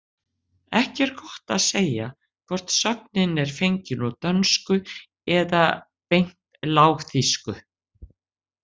Ekki er gott að segja hvort sögnin er fengin úr dönsku eða beint lágþýsku.